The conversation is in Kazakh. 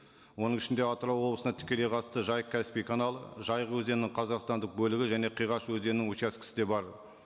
оның ішінде атырау облысына тікелей қатысты жайық каспий каналы жайық өзенінің қазақстандық бөлігі және қиғаш өзенінің учаскесі де бар